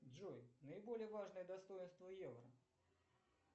джой наиболее важное достоинство евро